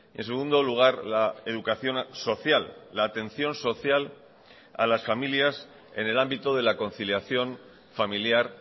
en segundo lugar la educación social la atención social a las familias en el ámbito de la conciliación familiar